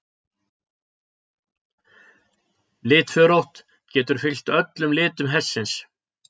Litförótt: Getur fylgt öllum litum hestsins.